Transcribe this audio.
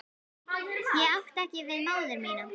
Ég átti ekki við móður mína.